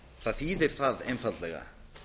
það þýðir það einfaldlega